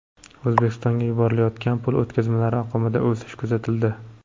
O‘zbekistonga yuborilayotgan pul o‘tkazmalari oqimida o‘sish kuzatildi.